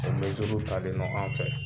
O mɛziiru talen don anw fɛ.